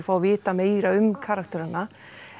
fá að vita meira um karakterana